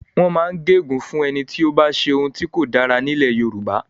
Wọ́n máa ń gé ègún fún ẹni tí ó bá ṣe ohun tí kò dára ní ilẹ̀ Yorùbá.